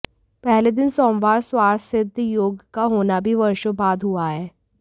पहले दिन सोमवार स्वार्थ सिद्ध योग का होना भी वर्षों बाद हुआ है